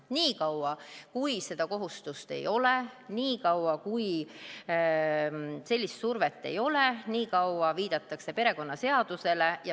Niikaua kui seda kohustust ei ole, niikaua kui sellist survet ei ole, niikaua viidatakse perekonnaseadusele.